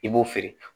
I b'o feere